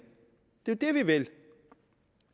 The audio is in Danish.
det er det vi vil